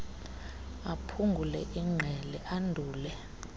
aphungule ingqele andule